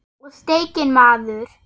Og steikin maður.